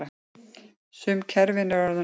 Sum kerfin eru orðin gömul.